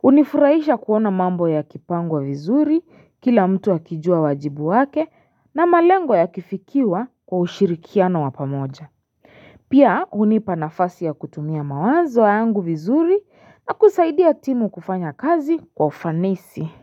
hUnifurahisha kuona mambo yakipangwa vizuri kila mtu akijua wajibu wake na malengo yakifikiwa kwa ushirikiano wa pamoja Pia hunipa nafasi ya kutumia mawanzo yangu vizuri na kusaidia timu kufanya kazi kwa ufanisi.